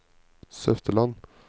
Søfteland